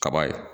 Kaba ye